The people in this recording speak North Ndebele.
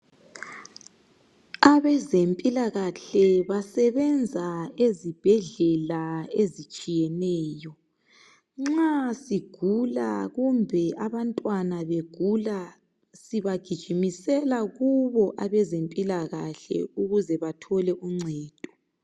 Abazempilakahle basebenza ezibhedlela ezitshiyeneyo. Nxa sigula kumbe abantwana begula sibagijimisela kubo abazempilakahle ukuze bathole uncedo.